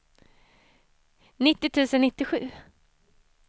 nittio tusen nittiosju